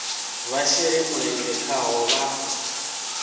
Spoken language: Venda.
vha shele mulenzhe khaho vha